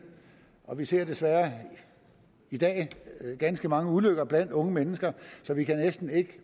og vi ser desværre i dag ganske mange ulykker blandt unge mennesker så vi kan næsten ikke